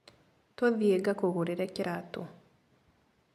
Tũthiĩ ngakũgũrĩre kĩratũ.